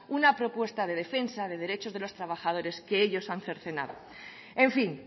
una propuesta de defensa de los derechos de los trabajadores que ellos han cercenado en fin